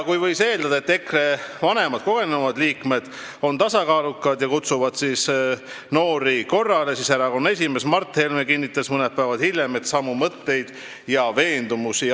Kui võis eeldada, et EKRE vanemad, kogenumad liikmed on tasakaalukad ja kutsuvad noori korrale, siis erakonna esimees Mart Helme kinnitas mõned päevad hiljem samu mõtteid ja veendumusi.